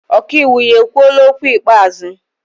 Ọkaiwu ya ekwuola okwu ikpeazụ?